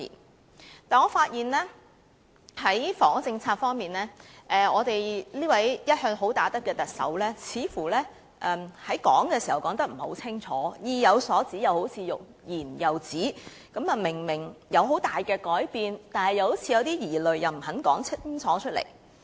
不過，我發現在房屋政策方面，我們這位一向"好打得"的特首似乎說得不夠清楚，好像意有所指，卻欲言又止，明明會有很大的改變，卻又似有疑慮，不肯說清楚。